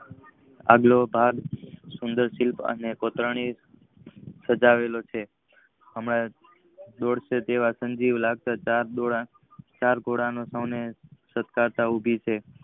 આગલો ભાગ સુંદરશીલ અને કોતરણી થયુ સજાવેલો છે. હમણાં દોડશે તેવો સજીવ લગતા ઘોડા સતાધાર ઉભી છે.